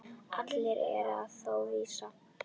Allt er það þó óvíst.